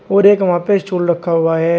और एक वहां पे स्टूल रखा हुआ है।